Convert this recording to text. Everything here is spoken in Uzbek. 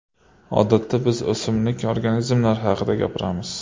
Odatda biz o‘simlik organizmlar haqida gapiramiz.